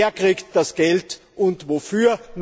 Wer kriegt das Geld und wofür?